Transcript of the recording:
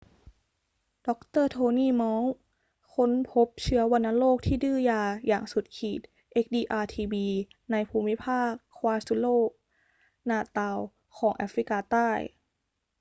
ดร. โทนี่ มอลล์ค้นพบเชื้อวัณโรคที่ดื้อยาอย่างสุดขีด xdr-tb ในภูมิภาค kwazulu-natal ของแอฟริกาใต้